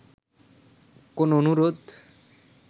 কোন অনুরোধ